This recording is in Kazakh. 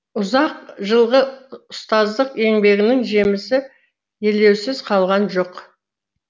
ұзақ жылғы ұстаздық еңбегінің жемісі елеусіз қалған жоқ